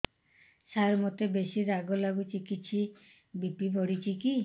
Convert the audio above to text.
ସାର ମୋତେ ବେସି ରାଗ ଲାଗୁଚି କିଛି ବି.ପି ବଢ଼ିଚି କି